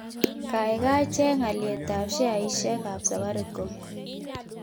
Gaigai cheng alyetap sheaisiekap Safaricom